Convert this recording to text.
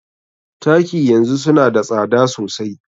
Taki yanzu suna da tsada sosai.